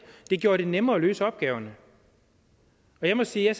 det gjorde det nemmere at løse opgaverne og jeg må sige at